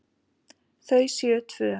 Þau séu tvö.